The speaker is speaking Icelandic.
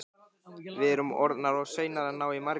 Við erum orðnar of seinar að ná í Margréti.